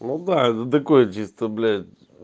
ну да это такое чисто блять